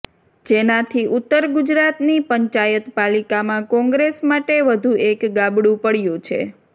જેનાથી ઉત્તર ગુજરાતની પંચાયત પાલિકામાં કોંગ્રેસ માટે વધુ એક ગાબડું પડયુ છે